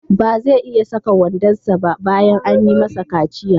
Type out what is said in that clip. Ba zai iya saka wandonsa ba bayan an yi masa kaciya.